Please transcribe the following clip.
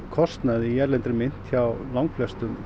kostnaði í erlendri mynt hjá langflestum